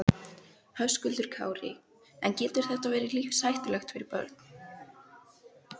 Höskuldur Kári: En getur þetta verið lífshættulegt fyrir börn?